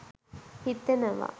හිතෙනවා